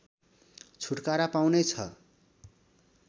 छुटकारा पाउने छ